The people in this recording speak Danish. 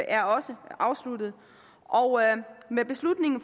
er også afsluttet og med beslutningen af